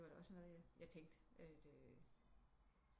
Det var da også noget jeg tænkte at